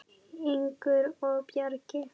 Ingunn og Bragi.